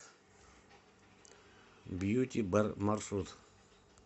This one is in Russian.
бьюти бар маршрут